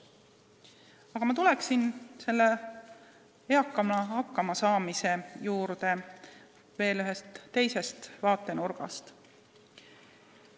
Aga ma tulen eakana hakkama saamise juurde ühest teisest vaatenurgast.